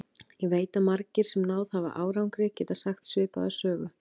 Ég veit að margir, sem náð hafa árangri, geta sagt svipaða sögu.